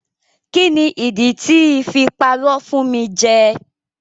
Kíni ìdí tí I fi parọ́ fún mi jẹ.